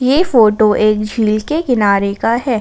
ये फोटो एक झील के किनारे का है।